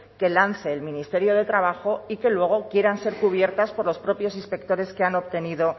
que lance el ministerio de trabajo y que luego quieran ser cubiertas por los propios inspectores que han obtenido